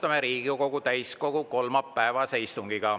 Alustame Riigikogu täiskogu kolmapäevast istungit.